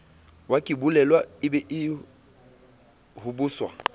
wakebolelwa e be o hobosa